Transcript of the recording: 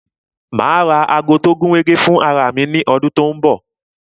Ma ra ago tó gúnrégé fún ara mi ní ọdún tó ń bọ̀